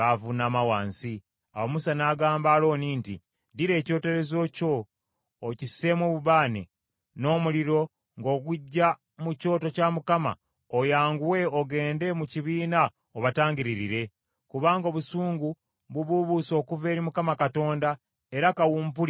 Awo Musa n’agamba Alooni nti, “Ddira ekyoterezo kyo okisseemu obubaane, n’omuliro ng’oguggya mu kyoto kya Mukama , oyanguwe ogende mu kibiina obatangiririre. Kubanga obusungu bubuubuuse okuva eri Mukama Katonda era kawumpuli atandise.”